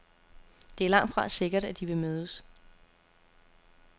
Det er langtfra sikkert, at de vil mødes.